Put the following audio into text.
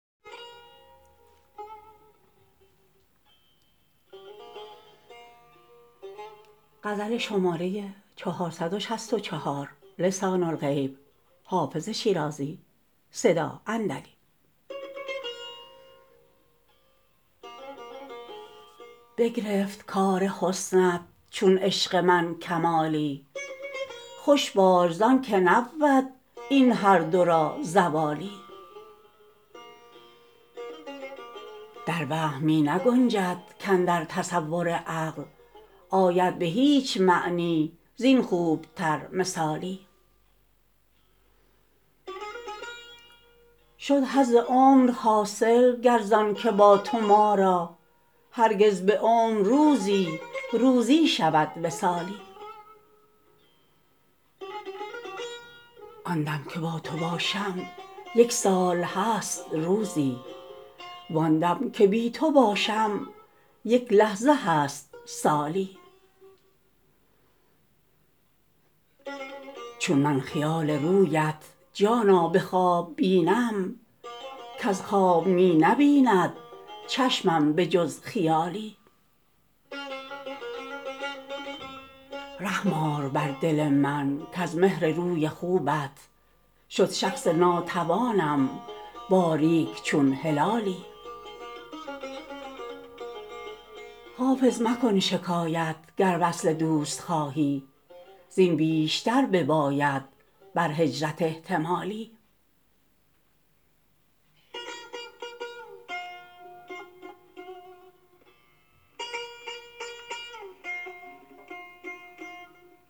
بگرفت کار حسنت چون عشق من کمالی خوش باش زان که نبود این هر دو را زوالی در وهم می نگنجد کاندر تصور عقل آید به هیچ معنی زین خوب تر مثالی شد حظ عمر حاصل گر زان که با تو ما را هرگز به عمر روزی روزی شود وصالی آن دم که با تو باشم یک سال هست روزی وان دم که بی تو باشم یک لحظه هست سالی چون من خیال رویت جانا به خواب بینم کز خواب می نبیند چشمم به جز خیالی رحم آر بر دل من کز مهر روی خوبت شد شخص ناتوانم باریک چون هلالی حافظ مکن شکایت گر وصل دوست خواهی زین بیشتر بباید بر هجرت احتمالی